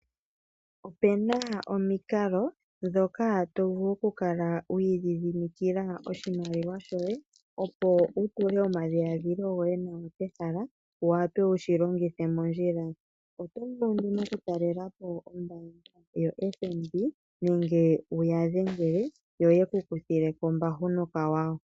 Opena omikalo ndhoka tovulu okukala wi idhidhimikila oshimaliwa shoye opo wutule omadhiladhilo goye pehala wuwate wushi longithe mondjila. Otovulu oku talelapo ombaanga yo FNB nenge wuyadhengele yo yeku kuthileko ombahu nokawawa.